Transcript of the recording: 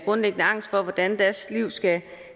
grundlæggende angst for hvordan deres liv skal